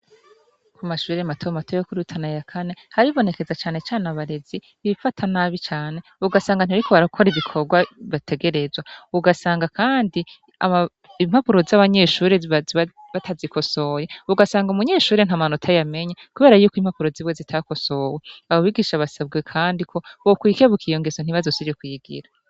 Ku mashurire mataba mato yokurirutana ya kane haribonekeza canecane abarezi ibifata nabi cane ugasanga antiariko barakora ibikorwa bategerezwa ugasanga, kandi impapuro z'abanyeshurre zbatazikosoye ugasanga umunyeshurire nta manota yamenya, kubera yuko impapuro zibwe zitakosowe ababigisha basabwe, kandi ko bokwikebukay eiyo ngeso ntibazosije kuyigira.